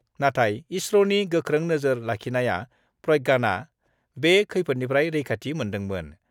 नाथाय इसर'नि गोख्रों नोजोर लाखिनाया प्रज्ञानआ बे खैफोदनिफ्राय रैखाथि मोन्दोंमोन।